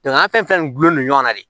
an fɛn fɛn gulonnen don ɲɔgɔn na de